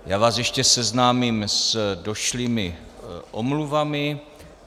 Já vás ještě seznámím s došlými omluvami.